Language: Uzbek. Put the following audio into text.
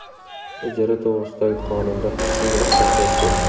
Ijara to‘g‘risidagi qonunda ham shunga o‘xshash vaziyat.